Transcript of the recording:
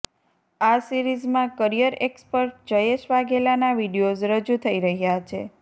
આ સિરિઝમાં career expert Jayesh વાઘેલાના વીડિયોઝ રજૂ થઈ રહ્યાં છે